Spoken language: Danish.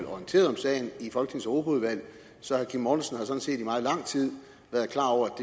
orienteret om sagen så herre kim mortensen set i meget lang tid været klar over at